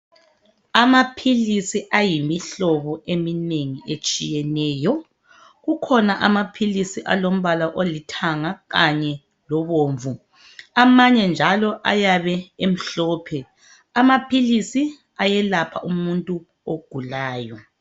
Amaphilisi ayimihlobo eminengi etshiyeneyo. Kukhona amaphilisi alombala olithanga kanye lobomvu. Amanye njalo ayabe emhlophe. Amaphilisi ayelapha umuntu ogulayo.